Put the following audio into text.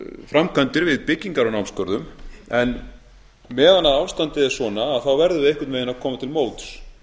framkvæmdir við byggingar á námsgörðum en meðan ástandið er svona verðum við einhvern veginn að koma til móts